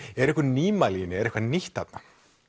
eru einhver nýmæli í henni er eitthvað nýtt þarna